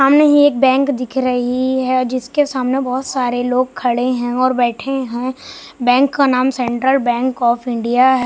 सामने ही एक बैंक दिख रही है जिसके सामने बहुत सारे लोग खड़े हैं और बैठे हैं बैंक का नाम सेंट्रल बैंक ऑफ इंडिया है।